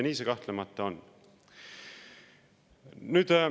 Nii see kahtlemata on.